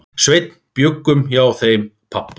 Sveinn bjuggum hjá þeim pabba.